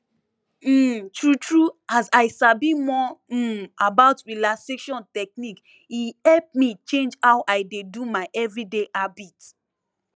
um true true as i sabi more um about relaxation technique e help me change how i dey do my everyday habit